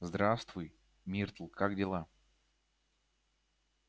здравствуй миртл как дела